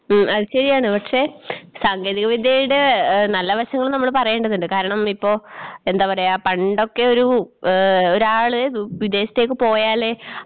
ഉം അത് ശരിയാണ് പക്ഷേ സാങ്കേതികവിദ്യയുടെ ഏഹ് നല്ല വശങ്ങളും നമ്മള് പറയേണ്ടതുണ്ട് കാരണം ഇപ്പോ എന്താ പറയാ പണ്ടൊക്കെയൊരു ഏഹ് ഒരാള് വിദേശത്തേക്ക് പോയാലേ